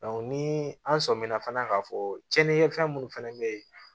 ni an sɔmina fana k'a fɔ cɛni kɛ fɛn munnu fɛnɛ be ye